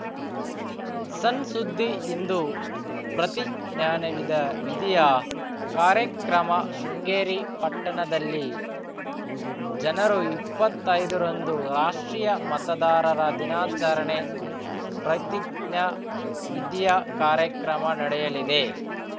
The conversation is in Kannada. ಸಣ್‌ ಸುದ್ದಿ ಇಂದು ಪ್ರತಿಜ್ಞಾನವಿದವಿಧಿಯ ಕಾರ್ಯಕ್ರಮ ಶೃಂಗೇರಿ ಪಟ್ಟಣದಲ್ಲಿ ಜನರುಇಪ್ಪತ್ತೈದರಂದು ರಾಷ್ಟ್ರೀಯ ಮತದಾರರ ದಿನಾಚಾರಣೆ ಪ್ರತಿಜ್ಞಾ ವಿಧಿಯ ಕಾರ್ಯಕ್ರಮ ನಡೆಯಲಿದೆ